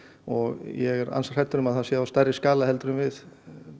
og ég er ansi hræddur um að það sé á stærri skala en við